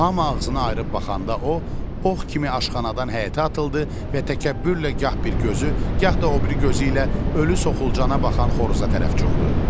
Hamı ağzını ayırıb baxanda o, ox kimi aşxanadan həyətə atıldı və təkəbbürlə gah bir gözü, gah da o biri gözü ilə ölü soxulcana baxan xoruza tərəf cumdu.